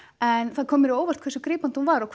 en það kom mér á óvart hversu grípandi hún var og